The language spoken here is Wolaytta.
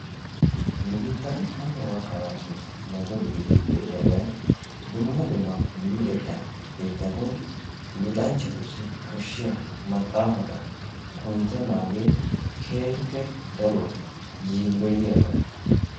Nu biittan hanno gakkanaashin meto gididi de"iyabayi dumma dumma luxetta keettatun luxanchchatussi koshshiya maxaafata kunttennaagee keehippe daruwa yiilloyiyaba.